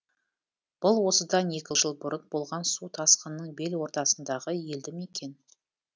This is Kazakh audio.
бұл осыдан екі жыл бұрын болған су тасқынының бел ортасындағы елді мекен